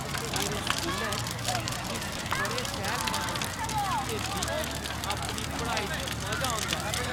मेरे स्कूलै च शिक्षक बड़े सैह्‌ल-मन न ते मिगी अपनी पढ़ाई च मजा औंदा ऐ।